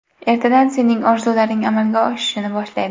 Ertadan sening orzularing amalga oshishni boshlaydi.